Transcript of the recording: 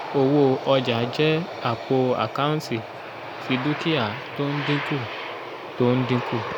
owó ọjà jẹ́ àpò àkántì ti dúkìá tó ń dínkù tó ń dínkù